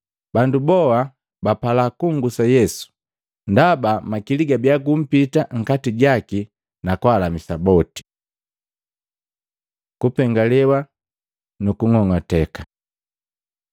Bandu boa bapala kunngusa Yesu, ndaba makili gabia gumpita nkati jaki na kwaalamisa bandu boti. Kupengalewa nu kung'ong'ateka Matei 5:1-12